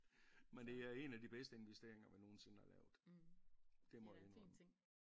Men det er en af de bedste investeringer vi nogensinde har lavet det må jeg indrømme